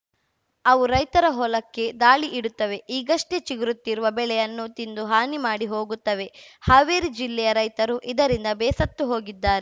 ಅವು ರೈತರ ಹೊಲಕ್ಕೆ ದಾಳಿ ಇಡುತ್ತವೆ ಈಗಷ್ಟೇ ಚಿಗುರುತ್ತಿರುವ ಬೆಳೆಯನ್ನು ತಿಂದು ಹಾನಿ ಮಾಡಿ ಹೋಗುತ್ತವೆ ಹಾವೇರಿ ಜಿಲ್ಲೆಯ ರೈತರು ಇದರಿಂದ ಬೇಸತ್ತು ಹೋಗಿದ್ದಾರೆ